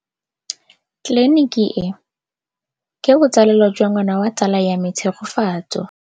Tleliniki e, ke botsalêlô jwa ngwana wa tsala ya me Tshegofatso.